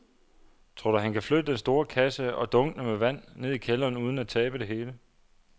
Tror du, at han kan flytte den store kasse og dunkene med vand ned i kælderen uden at tabe det hele?